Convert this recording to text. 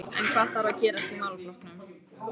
En hvað þarf að gerast í málaflokknum?